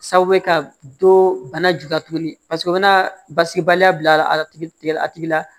Sababu ye ka dɔ bana ju ka tugu paseke o bɛna basigibaliya bila a la a tigi la